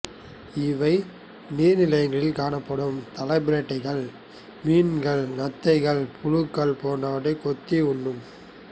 இவை நீர்நிலைகளில் காணப்படும் தலைப்பிரட்டைகள் மீன்கள் நத்தைகள் புழுக்கள் போன்றவைகளை கொத்தி உண்ணும்